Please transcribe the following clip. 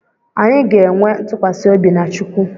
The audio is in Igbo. Anyị ga-enwe ntụkwasị obi na chukwu